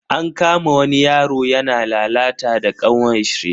An kama wani yaro yana lalata da kanwarshi.